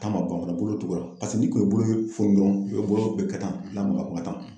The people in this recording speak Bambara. Taa ma ban fɔlɔ bolo tugula paseke ni kun ye bolo foni dɔrɔnw, bolo kun bɛ kɛ tan